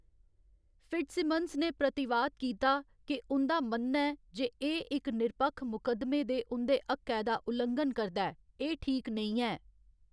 Fitzsimmons ने प्रतिवाद कीता के उं'दा मन्नना ​​​​ऐ जे एह्‌‌ इक निरपक्ख मुकदमे दे उं'दे हक्कै दा उल्लंघन करदा ऐ, एह्‌‌ ठीक नेईं ऐ।